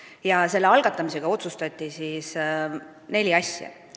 Ja selle algatamisega otsustati ära neli asja.